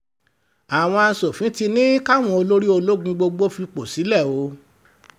ìjà ń bọ́ àwọn asòfin ti ní káwọn olórí ológun gbogbo fipò sílẹ̀ o